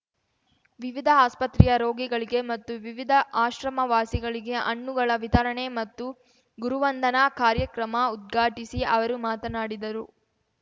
ವಿವಿಧ ಆಸ್ಪತ್ರೆಯ ರೋಗಿಗಳಿಗೆ ಮತ್ತು ವಿವಿಧ ಆಶ್ರಮ ವಾಸಿಗಳಿಗೆ ಹಣ್ಣುಗಳ ವಿತರಣೆ ಮತ್ತು ಗುರುವಂದನಾ ಕಾರ್ಯಕ್ರಮ ಉದ್ಘಾಟಿಸಿ ಅವರು ಮಾತನಾಡಿದರು